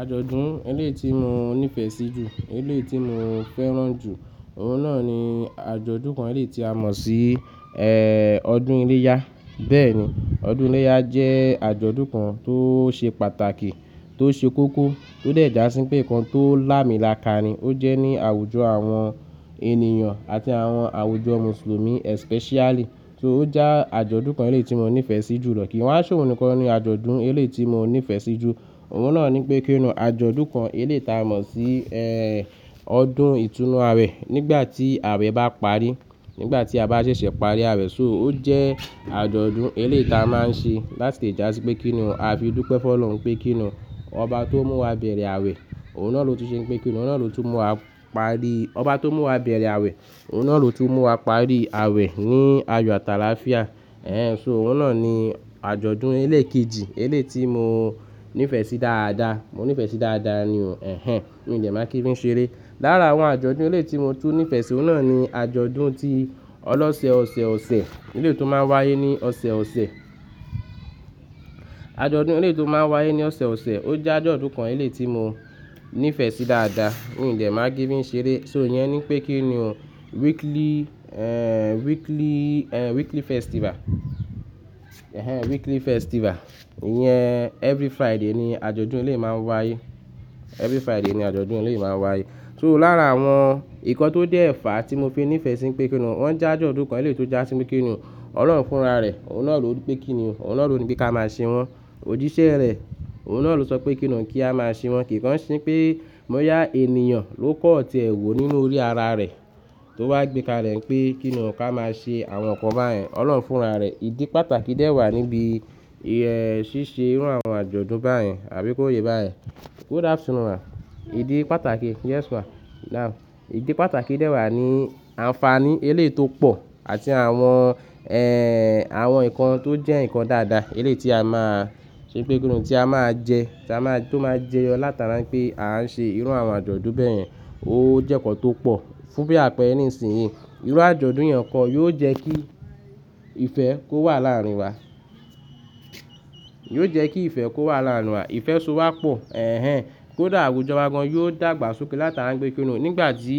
Àjọ̀dún eléyìí tí mo nífẹ̀ sí jù, eléyìí tí mo fẹ́ràn jù, òun náà ni àjọ̀dún kan eléyìí tí a mọ̀ sí ọdún iléyá. Bẹ́ẹ̀ni, ọdún iléyá jẹ́ àjọ̀dún kan tó ṣe pàtàkì, tó ṣe kókó, tó de dasi pé ìkan tó làmílàkà ni. Ó jẹ́ ní àwùjọ àwọn ènìyàn àti àwọn àwùjọ Mùsùlùmí especially. So ó jẹ́ àjọ̀dún kan eléyìí tí mo nífẹ̀ sí jùlọ. Kìí wá ṣe oun nìkan ni àjọ̀dún eléyìí tí mo nífẹ̀ sí jù. Òun náà ni pé kíni àjọ̀dún kan eléyìí tí a mọ̀ sí ọdún ìtùnú àwe nígbà tí àwe bá parí, nígbà tí a bá ṣẹ̀ṣẹ̀ parí àwe So ó jẹ́ àjọ̀dún eléyìí ta máa ń ṣe láti dàsí pé kíni a fi dúpẹ́ fún Ọlọ́run pé kíni ọba tó mú wa bẹ̀rẹ̀ àwe, òun náà ló ti ṣe pé kíni òun náà ló tún mú wa parí ọba tó mú wa bẹ̀rẹ̀ àwe, òun náà ló tún mú wa parí àwe ní ayọ̀ àti àlàáfíà. Ẹ̀hen, so òun náà ni àjọ̀dún elékejì eléyìí tí mo nífẹ̀ sí dáadáa. Mo nífẹ̀ẹ́ sí dáadáa ni, ẹ̀hen, mi ò dẹ̀ máa kí ń fi ṣe eré. Lára àwọn àjọ̀dún eléyìí tí mo tún nífẹ̀ sí, òun náà ni àjọ̀dún tí ọlọ́ṣẹ̀ ọ̀ṣẹ̀ ọ̀ṣẹ̀ eléyìí tó máa ń wáyé ní ọ̀ṣẹ̀ ọ̀ṣẹ̀. Àjọ̀dún eléyìí tó máa ń wáyé ní ọ̀ṣẹ̀ ọ̀ṣẹ̀, ó jẹ́ àjọ̀dún kan eléyìí tí mo nífẹ̀ẹ́ sí dáadáa. Mi ò dẹ̀ máa kí ń fi ṣe eré. So ìyẹn ni pé kíni, weekly, ẹ́, weekly, ẹ́, weekly festival. Ẹ̀hen, weekly festival. Ìyẹn every Friday ni àjọ̀dún eléyìí máa ń wáyé. Every Friday ni àjọ̀dún eléyìí máa ń wáyé. So lára àwọn nǹkan tó dé fà tí mo fi nífẹ̀ sí pé kíni wọ́n jẹ́ àjọ̀dún kan eléyìí tó jásí pe kíni Ọlọ́run fúnra rẹ̀, òun náà ló pé kíni, òun náà ló ní pé ká máa ṣe wọ́n. Òjíṣẹ́ rẹ̀, òun náà ló sọ pé kíni kí a máa ṣe wọn. Kìíkan ṣín pé bọ́yà ènìyàn ló kọ̀ tie wọ́ nínú orí ara rẹ̀ tó wá gbékale pé kíni ká máa ṣe àwọn nǹkan báyẹn. Ọlọ́run fúnra rẹ̀. Ìdí pàtàkì dè wà níbi ṣíṣe irú àwọn àjọ̀dún báyẹn àbí kó yé bá yẹn. Good afternoon ma. Ìdí pàtàkì, yes ma. Now, ìdí pàtàkì dẹ wà ní àǹfààní eléyìí tó pọ̀ àti àwọn, ẹ́, àwọn nǹkan tó jẹ́ nǹkan dáadáa eléyìí tí a máa ṣe pé kíni tí a máa jẹ, tí a máa, tó máa jẹyọ látara wípé à ń ṣe irú àwọn àjọ̀dún bẹ́ yẹn. Ó jẹ́ nǹkan tó pọ̀. Fún bí àpẹẹrẹ nísinsìnyí, irú àjọ̀dún yẹn kọ́ yóò jẹ́ kí ìfẹ́ kó wà láàrin wa. Yóò jẹ́ kí ìfẹ́ kó wà láàrin wa. Ìfẹ́ so wá pọ̀, ẹ̀hen, kódà àwùjọ wa gan-an yóò dàgbà sókè látara wípé kíni o nígbà tí